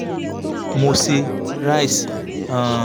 mo ṣe rice um